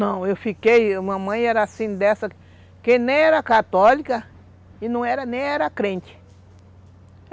Não, eu fiquei... Mamãe era assim dessa que nem era católica e não era, nem era crente.